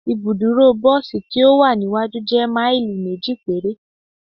Ibuduro bosi ti o wa niwaju jẹ maili meji pere